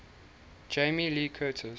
jamie lee curtis